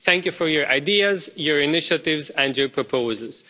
Thank you for your ideas, your initiatives and your proposals.